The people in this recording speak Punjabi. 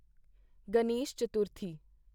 ਗਣੇਸ਼ ਚਤੁਰਥੀ